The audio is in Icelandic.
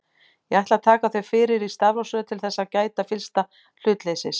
Ég ætla að taka þau fyrir í stafrófsröð til þess að gæta fyllsta hlutleysis.